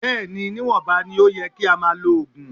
Bẹ́ẹ̀ ni, níwọ̀nba ni ó yẹ kí a máa lo oògùn.